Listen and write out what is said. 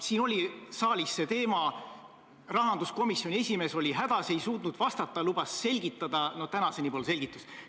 Siin oli saalis see teema, rahanduskomisjoni esimees oli hädas, ei suutnud vastata, lubas selgitada, aga tänaseni pole selgitust.